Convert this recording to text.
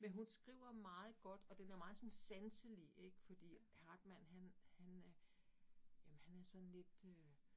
Men hun skriver meget godt, og den er meget sådan sanselig ik fordi Hartmann han han er jamen han er sådan lidt øh